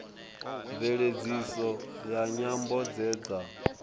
mveledziso ya nyambo dze dza